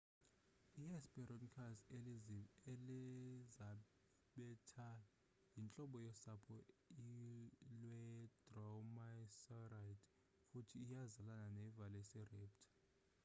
i-hesperonychus elizabethae yintlobo yosapho lwe-dromaeosauride futhi iyazalana ne-velociraptor